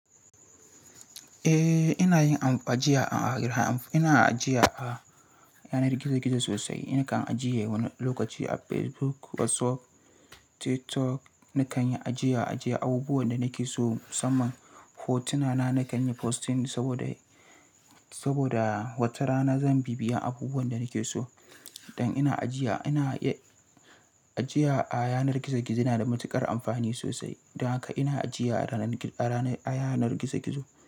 Eh, ina yin ajiya a gidan amfo. Ina ajiya a yanar gizo-gizo sosai. Nakan ajiye wani lokaci a Facebook, WhatsApp, TikTok. Nakan yi ajiya-ajiya abubuwan da nake so. Masaman hotuna na nakan yi posting saboda wata rana zan bibiya abubuwan da nake so. Dan ina ajiya a yanar gizo-gizo yana da matuƙar amfani sosai. Dan haka ina ajiya a yanar gizo-gizo.